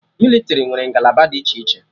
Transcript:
Mịlịtrị nwere ngalaba dị iche iche